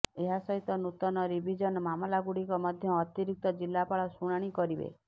ଏହାସହିତ ନୂତନ ରିଭିଜନ ମାମଲାଗୁଡିକ ମଧ୍ୟ ଅତିରିକ୍ତ ଜିଲାପାଳ ଶୁଣାଣି କରିବେ